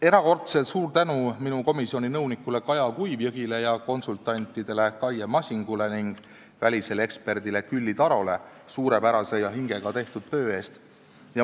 Erakordselt suur tänu minu komisjoni nõunikule Kaja Kuivjõele ja konsultant Kaie Masingule ning välisele eksperdile Külli Tarole suurepärase ja hingega tehtud töö eest!